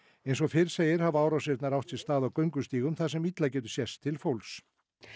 eins og fyrr segir hafa árásirnar átt sér stað á göngustígum þar sem illa getur sést til fólks